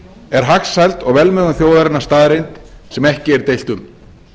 er hagsæld og velmegun þjóðarinnar staðreynd sem ekki er deilt um